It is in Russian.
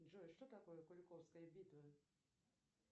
джой что такое куликовская битва